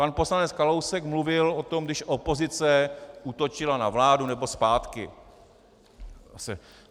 Pan poslanec Kalousek mluvil o tom, když opozice útočila na vládu, nebo zpátky...